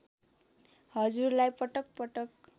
हजुरलाई पटक पटक